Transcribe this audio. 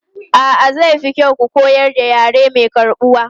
A'a, zai fi kyau ku koyar da yare mai karɓuwa.